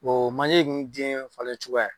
Oo manje nn den ŋ falencogoya ye